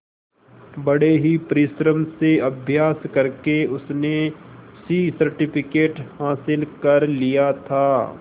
बड़े ही परिश्रम से अभ्यास करके उसने सी सर्टिफिकेट हासिल कर लिया था